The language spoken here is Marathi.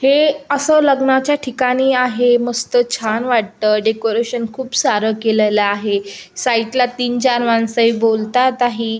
हे असं लग्नाच्या ठिकाणी आहे मस्त छान वाटत डेकोरशन खूप सारं केलेला आहे साइड ला तीन चार माणस बोलतात आहे.